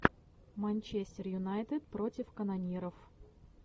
манчестер юнайтед против канониров